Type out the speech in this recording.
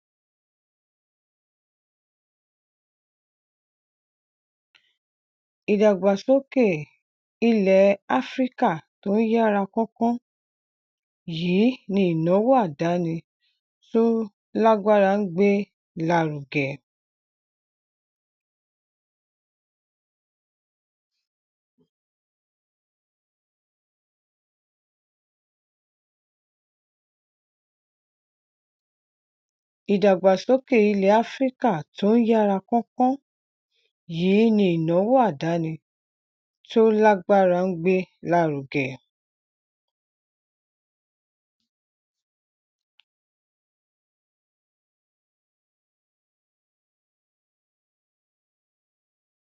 ìdàgbàsókè ilè áfíríkà tó ń yára kánkán yìí ni ìnáwó àdáni tó lágbára ń gbé lárugẹ